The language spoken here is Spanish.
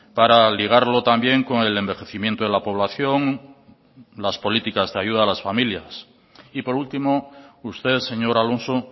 para ligarlo también con el envejecimiento de la población las políticas de ayudas a las familias y por último usted señor alonso